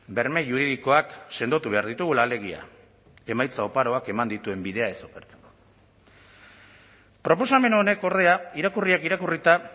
berme juridikoak sendotu behar ditugula alegia emaitza oparoak eman dituen bidea ez okertzeko proposamen honek ordea irakurriak irakurrita